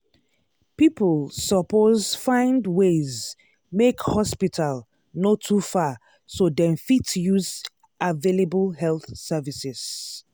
people suppose find ways make hospital no too far so dem fit use available health services.